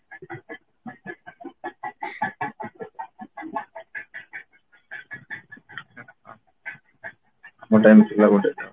ମୋ time ଥିଲା ଗୋଟେ ତ